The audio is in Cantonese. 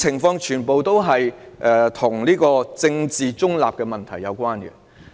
凡此種種，皆與政治中立的問題有關。